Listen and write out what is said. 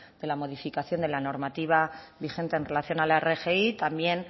de la modificación de la normativa vigente en relación a la rgi también